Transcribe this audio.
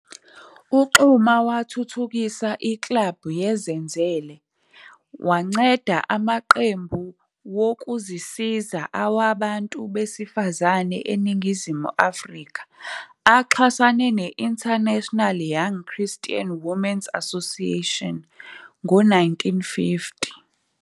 UXuma wathuthukisa iklabhu yeZenzele, wanceda ama cembu wokuzisiza awabantu besifazane eningizimu Afrika aqhasane ne international Young Christian Women's Association ngo 1950.